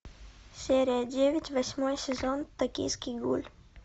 серия девять восьмой сезон токийский гуль